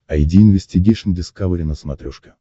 айди инвестигейшн дискавери на смотрешке